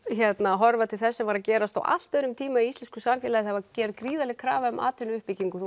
að horfa til þess sem var að gerast á allt öðrum tíma í íslensku samfélagi það var gerð gríðarleg krafa um atvinnuuppbyggingu